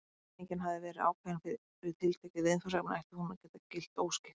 Þegar einingin hafði verið ákveðin fyrir tiltekið viðfangsefni ætti hún að geta gilt óskipt.